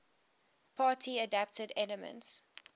party adapted elements